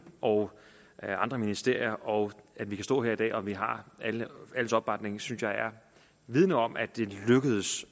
og andre ministerier og at vi kan stå her i dag og vi har alles opbakning synes jeg vidner om at det er lykkedes